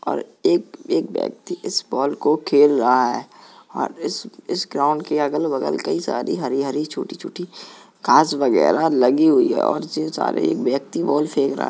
और एक - एक ब्यक्ति इस बॉल को खेल रहा है और इस - इस ग्राउन्ड के अगल - बगल कई सारी हरी - हरी छोटी - छोटी घास वगैरा लगी हुई है और उसी में सारे एक ब्यक्ति बॉल फेंक रहा --